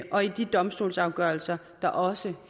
og i de domstolsafgørelser der også